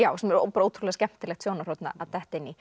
sem er ótrúlega skemmtilegt sjónarhorn að detta inn í